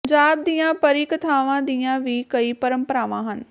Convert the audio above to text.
ਪੰਜਾਬ ਦੀਆਂ ਪਰੀ ਕਥਾਵਾਂ ਦੀਆਂ ਵੀ ਕਈ ਪਰੰਪਰਾਵਾਂ ਹਨ